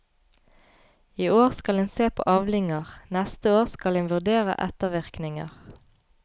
I år skal en se på avlinger, neste år skal en vurdere ettervirkninger.